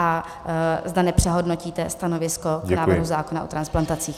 A zda nepřehodnotíte stanovisko k návrhu zákona o transplantacích.